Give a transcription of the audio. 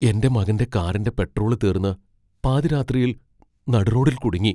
എന്റെ മകന്റെ കാറിന്റെ പെട്രോള് തീർന്ന് പാതിരാത്രിയിൽ നടുറോഡിൽ കുടുങ്ങി.